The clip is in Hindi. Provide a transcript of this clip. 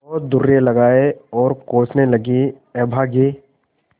और दुर्रे लगाये और कोसने लगेअभागे